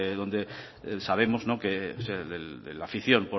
sabemos de la afición